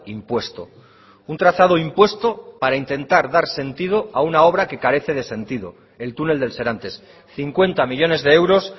impuesto un trazado impuesto para intentar dar sentido a una obra que carece de sentido el túnel del serantes cincuenta millónes de euros